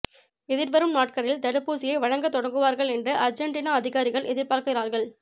எதிர்வரும் நாட்களில் தடுப்பூசியை வழங்கத் தொடங்குவார்கள் என்று அர்ஜென்டினா அதிகாரிகள் எதிர்பார்க்கிறார்கள்